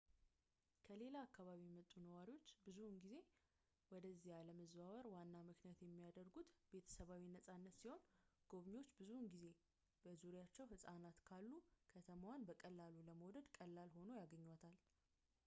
ከሌላ አካባቢ የመጡ ነዋሪዎች ብዙውን ጊዜ ወደዚያ ለመዛወር ዋና ምክንያት የሚያደርጉት ቤተሰባዊ-ነጻነትን ሲሆን ጎብኝዎች ብዙውን ጊዜ በዙሪያቸው ሕፃናት ካሉ ከተማዋን በቀላሉ ለመውደድ ቀላል ሆና ያገኟታል